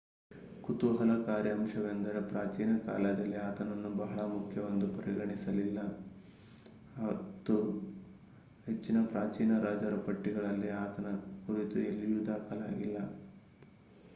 ಕುತೂಹಲಕಾರಿ ಅಂಶವೆಂದರೆ ಪ್ರಾಚೀನ ಕಾಲದಲ್ಲಿ ಆತನನ್ನು ಬಹಳ ಮುಖ್ಯವೆಂದು ಪರಿಗಣಿಸಲಿಲ್ಲ ಮತ್ತು ಹೆಚ್ಚಿನ ಪ್ರಾಚೀನ ರಾಜರ ಪಟ್ಟಿಗಳಲ್ಲಿ ಆತನ ಕುರಿತು ಎಲ್ಲಿಯೂ ದಾಖಲಾಗಿಲ್ಲ